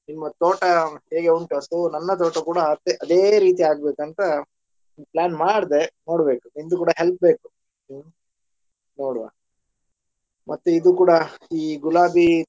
ನಿಮ್ಮ ತೋಟ ಹೇಗೆ ಉಂಟು ಅಸಲು ನನ್ನ ತೋಟ ಕೂಡಾ ಅದೆ ರೀತಿ ಆಗ್ಬೇಕಂತ plan ಮಾಡ್ದೆ ನೋಡ್ಬೇಕು ನಿನ್ದು ಕೂಡಾ help ಬೇಕು ಹ್ಮ್ ನೋಡುವ ಮತ್ತು ಇದು ಕೂಡಾ ಈ ಗುಲಾಬಿ.